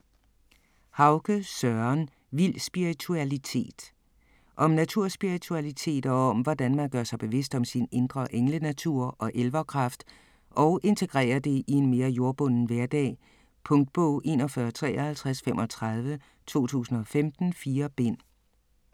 Hauge, Søren: Vild spiritualitet Om naturspiritualitet og hvordan man gør sig bevidst om sin indre englenatur og elverkraft og integrerer det i en mere jordbunden hverdag. Punktbog 415335 2015. 4 bind.